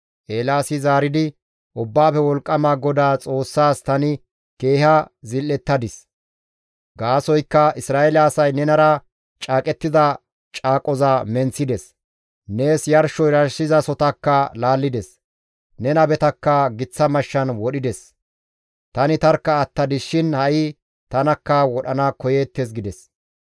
Eelaasi zaaridi, «Ubbaafe Wolqqama GODAA Xoossaas tani keeha zil7ettadis; gaasoykka Isra7eele asay nenara caaqettida caaqoza menththides; nees yarsho yarshizasohotakka laallides; ne nabetakka giththa mashshan wodhides; tani tarkka attadis shin ha7i tanakka wodhana koyeettes» gides.